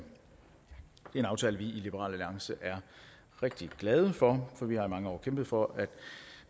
en aftale vi i liberal alliance er rigtig glade for for vi har i mange år kæmpet for at